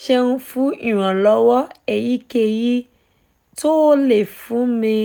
ẹ ṣeun fún ìrànlọ́wọ́ èyíkéyìí tó o lè fún mi